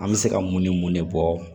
An bɛ se ka mun ni mun de bɔ